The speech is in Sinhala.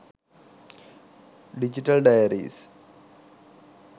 digital diaries